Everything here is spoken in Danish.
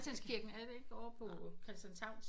Christianskirken er det ikke ovre på Christianshavn?